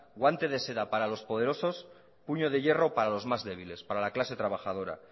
guante de seda para los poderosos puño de hierro para los más débiles para la clase trabajadora